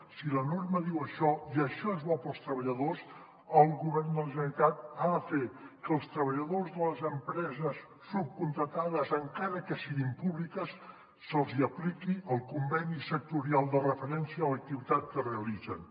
si la norma diu això i això és bo per als treballadors el govern de la generalitat ha de fer que als treballadors de les empreses subcontractades encara que siguin públiques se’ls hi apliqui el conveni sectorial de referència a l’activitat que realitzen